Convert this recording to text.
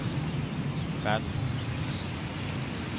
kväll